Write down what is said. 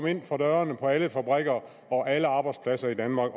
inden for dørene på alle fabrikker og alle arbejdspladser i danmark